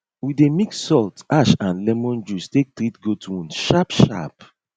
we dey mix salt ash and lemon juice take treat goat wound sharpsharp